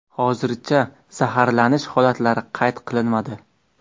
Hozircha zaharlanish holatlari qayd qilinmadi.